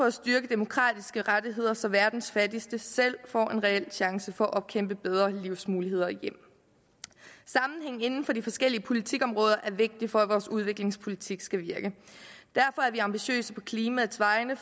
at styrke demokratiske rettigheder så verdens fattigste selv får en reel chance for at kæmpe bedre livsmuligheder hjem sammenhæng inden for de forskellige politikområder er vigtige for at vores udviklingspolitik skal virke derfor er vi ambitiøse på klimaets vegne